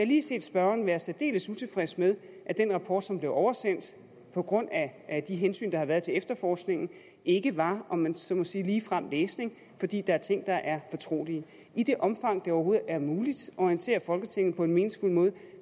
lige set spørgeren være særdeles utilfreds med at den rapport som blev oversendt på grund af de hensyn der har været til efterforskningen ikke var om man så må sige ligefrem læsning fordi der er ting der er fortrolige i det omfang det overhovedet er muligt at orientere folketinget på en meningsfuld måde